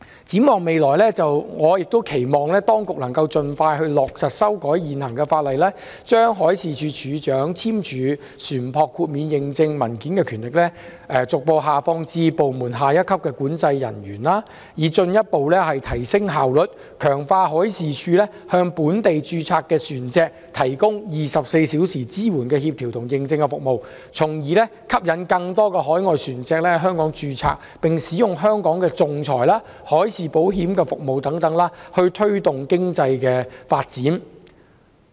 展望未來，我期望當局能盡快落實修改現行法例，將海事處處長簽署船舶豁免認證文件的權力，逐步下放至部門下一級管制人員，以進一步提升效率，強化海事處向本地註冊船隻提供24小時支援的協調和認證服務，從而吸引更多海外船隻在香港註冊，並使用香港的仲裁、海事保險等服務，推動本地經濟的發展。